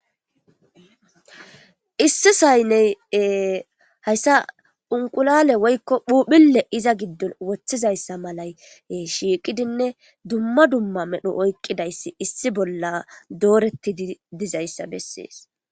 Issi sayne haysa unqulale woyko phuphule iza gidon wotizaysa malay shiqidine duma duma medho oyqidaysi issi bola doretidi dizaysa beses.